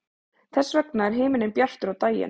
þess vegna er himinninn bjartur á daginn